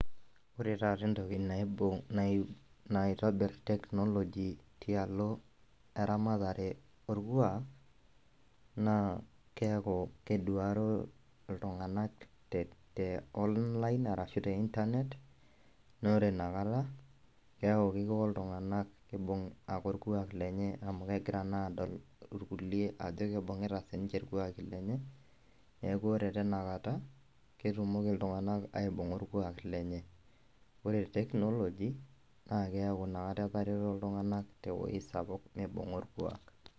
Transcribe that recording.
Ore taata entoki naitobir technology tialo eramatare orkuak naa keaku keduaro ltunganak te online ashu internet na ore inakata keaku mepuo ltunganak aibung orkuak lenyeaku egira naa adol irkulie ajo ibungita sinche rkulenye, neaku ore tinakata ketumoki ltunganak aibunga orkuak lenye, ore technology na keaku inakata eterero ltunganak tewueji sapuk nibunga orkuak.